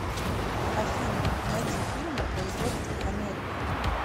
афина найди фильмы производства америка